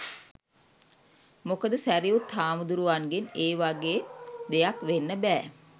මොකද ‍සැරියුත් හාමුදුරුවන්ගෙන් ඒ වගේ දෙයක් වෙන්න බෑ.